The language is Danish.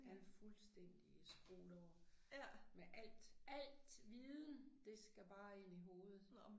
Han fuldstændig skruet over med alt alt viden det skal bare ind i hovedet